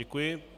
Děkuji.